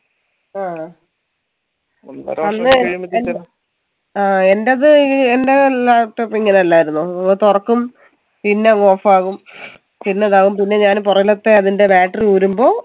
ആ ആ എൻ്റപ്പേ എൻറെ laptop ഇങ്ങനല്ലായിരുന്നു ഓ തൊറക്കും പിന്ന off ആവും പിന്നതാവും പിന്നെ ഞാന് പൊറകിലത്തെ അതിൻറെ battery ഊരുമ്പോ